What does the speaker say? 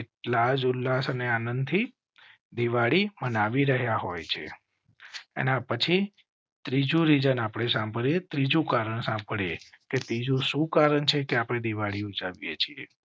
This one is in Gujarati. એટલાજ ઉલ્લાસ અને આનંદથી દિવાળી મનાવી રહ્યાં હોય છે. એના પછી ત્રીજું રીજન આપણે સાંભળીએ. ત્રીજું કારણ સાંભળી એ. ત્રીજું શું કારણ છે કે આપ ડે દિવાળી એ છીએ?